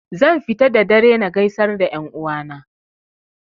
Zan fita da dare na gaisar da 'yan uwa na